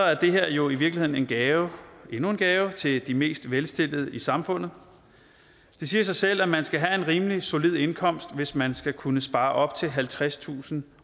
er det her jo i virkeligheden en gave endnu en gave til de mest velstillede i samfundet det siger sig selv at man skal have en rimelig solid indkomst hvis man skal kunne spare op til halvtredstusind